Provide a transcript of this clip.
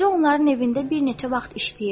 Qoca onların evində bir neçə vaxt işləyir.